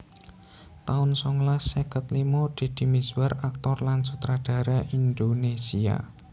taun songolas seket limo Deddy Mizwar aktor lan sutradara Indonésia